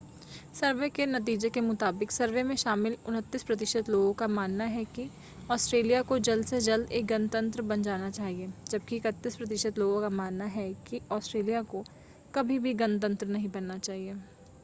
सर्वे के नतीजे के मुताबिक सर्वे में शामिल 29 प्रतिशत लोगों का मानना है कि ऑस्ट्रेलिया को जल्द से जल्द एक गणतंत्र बन जाना चाहिए जबकि 31 प्रतिशत लोगों का मानना है कि ऑस्ट्रेलिया को कभी भी गणतंत्र नहीं बनना चाहिए